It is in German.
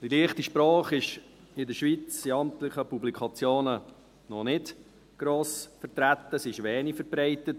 Die «leichte Sprache» ist in der Schweiz in amtlichen Publikationen noch nicht gross vertreten, sie ist wenig verbreitet.